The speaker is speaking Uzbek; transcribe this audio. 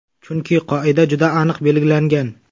Chunki qoida juda aniq belgilangan.